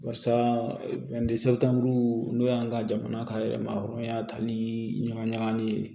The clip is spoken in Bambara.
Barisa n'o y'an ka jamana ka yɛrɛmaw ye tan ni ɲaga ɲagali ye